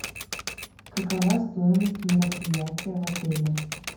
какова стоимость мероприятия в отеле